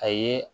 A ye